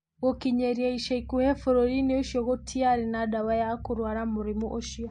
Gũkinyĩria ica ikuhĩ, bũrũri-inĩ ũcio gũtiarĩ na ndawa ya kũrũara mũrimũ ũcio.